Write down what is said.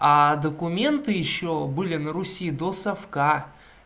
а документы ещё были на руси до совка